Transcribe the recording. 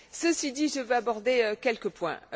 Ceci dit, je vais aborder quelques points.